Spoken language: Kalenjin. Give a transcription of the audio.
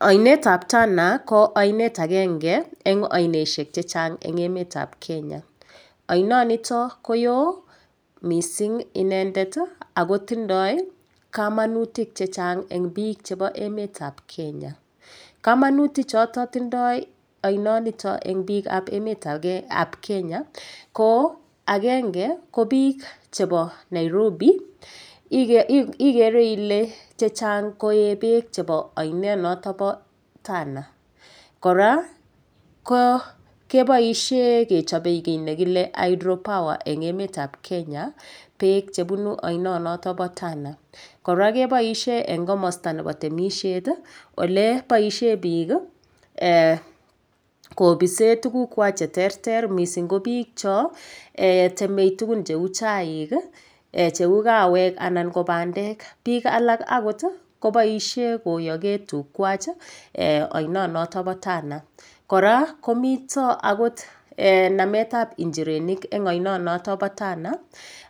Oinetab Tana ko oinet agenge eng' ainoshek chechang' eng' emetab Kenya oinonito ko yoo mising' inendet akotindoi kamanutik chechang' eng' biik chebo emetab Kenya kamanutichoto tindoi oinonito eng' biikab emetab Kenya ko agenge ko biik chebo Nairobi igere ile chechang' koe beek chebo oinet noto bo Tana kora keboishe kechobei kii nekile hydropower eng' emetab Kenya beek chebunu oinonito bo Tana kora keboishe eng' komosta nebo temishet ole boishe biik kopishe tugukwach cheterter mising' ko biik cho temei tugun cheu chaik cheu kawek anan ko bandek biik alak akot koboishe koyokee tugwach oinonoto bo Tana kora komito akot nametab njirenik eng' oinonoto bo Tana